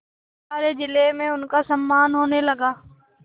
सारे जिले में उनका सम्मान होने लगा